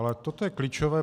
Ale toto je klíčové.